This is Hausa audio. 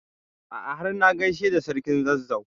A'a har na gaishe da sarkin Zazzau.